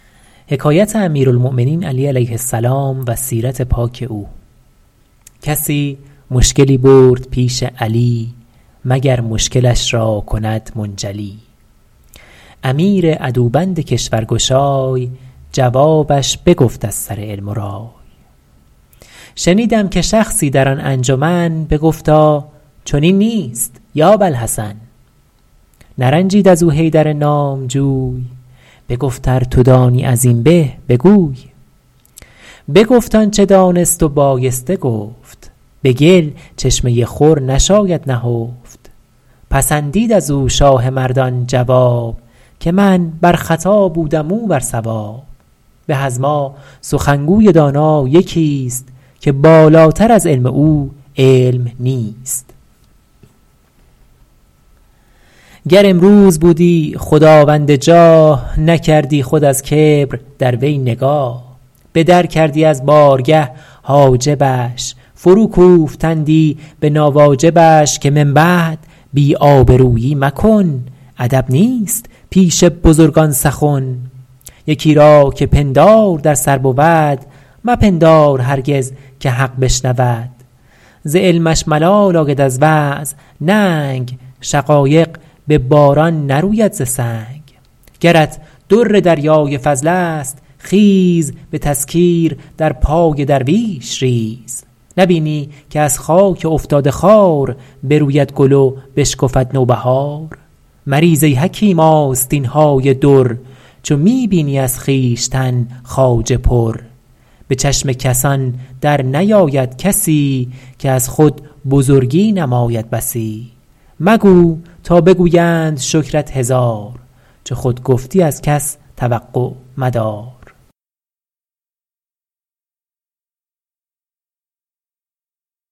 کسی مشکلی برد پیش علی مگر مشکلش را کند منجلی امیر عدوبند کشور گشای جوابش بگفت از سر علم و رای شنیدم که شخصی در آن انجمن بگفتا چنین نیست یا باالحسن نرنجید از او حیدر نامجوی بگفت ار تو دانی از این به بگوی بگفت آنچه دانست و بایسته گفت به گل چشمه خور نشاید نهفت پسندید از او شاه مردان جواب که من بر خطا بودم او بر صواب به از ما سخنگوی دانا یکی است که بالاتر از علم او علم نیست گر امروز بودی خداوند جاه نکردی خود از کبر در وی نگاه به در کردی از بارگه حاجبش فرو کوفتندی به ناواجبش که من بعد بی آبرویی مکن ادب نیست پیش بزرگان سخن یکی را که پندار در سر بود مپندار هرگز که حق بشنود ز علمش ملال آید از وعظ ننگ شقایق به باران نروید ز سنگ گرت در دریای فضل است خیز به تذکیر در پای درویش ریز نبینی که از خاک افتاده خوار بروید گل و بشکفد نوبهار مریز ای حکیم آستین های در چو می بینی از خویشتن خواجه پر به چشم کسان در نیاید کسی که از خود بزرگی نماید بسی مگو تا بگویند شکرت هزار چو خود گفتی از کس توقع مدار